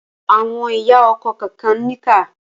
Àwọn ìyá ọkọ kànkan níkà.